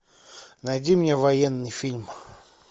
найди мне военный фильм